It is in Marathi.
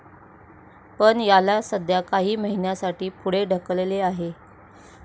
पण, याला सध्या काही महिन्यासाठी पुढे ढकलले आहे.